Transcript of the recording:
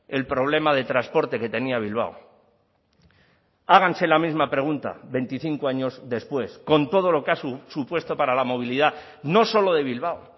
el problema de transporte que tenía bilbao háganse la misma pregunta veinticinco años después con todo lo que ha supuesto para la movilidad no solo de bilbao